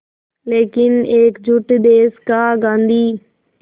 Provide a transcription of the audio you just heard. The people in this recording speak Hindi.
लेकिन एकजुट देश का गांधी